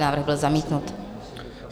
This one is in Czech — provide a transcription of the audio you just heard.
Návrh byl zamítnut.